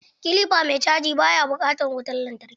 Kilifa mai caji ba ya bukatan wutan lantarki.